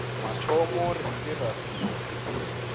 mathomo re ile ra fiwa